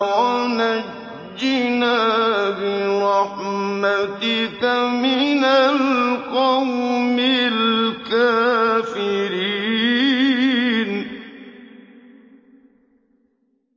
وَنَجِّنَا بِرَحْمَتِكَ مِنَ الْقَوْمِ الْكَافِرِينَ